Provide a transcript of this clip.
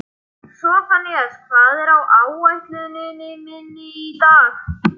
Sophanías, hvað er á áætluninni minni í dag?